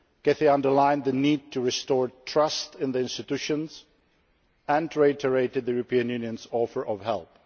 She underlined the need to restore trust in the institutions and reiterated the European Union's offer of